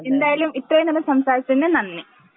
എന്തായാലും ഇത്രയും നേരം സംസാരിച്ചതിന് നന്ദി.